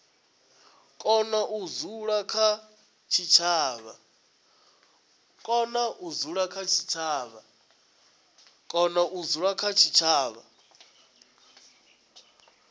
kona u dzula kha tshitshavha